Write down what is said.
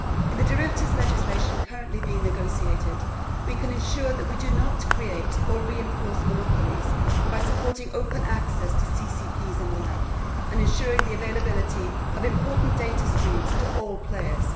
In the derivatives legislation currently being negotiated, we can ensure that we do not create or reinforce monopolies by supporting open access to CCPs and the like, and by ensuring the availability of important data streams to all players.